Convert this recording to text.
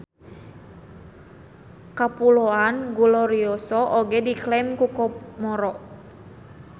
Kapuloan Glorioso oge diklaim ku Komoro.